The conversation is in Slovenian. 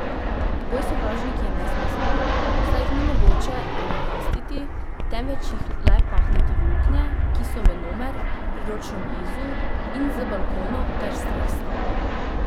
Boj s sovražniki je nesmiseln, saj jih ni mogoče premikastiti, temveč jih le pahniti v luknje, ki so venomer priročno blizu, in z balkonov ter streh stavb.